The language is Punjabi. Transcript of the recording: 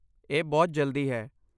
ਇਹ ਬਹੁਤ ਜਲਦੀ ਹੈ।